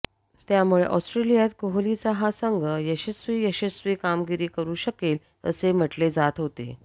त्यामुळे ऑस्ट्रेलियात कोहलीचा हा संघ यशस्वी यशस्वी कामगिरी करु शकेल असे म्हटले जात होते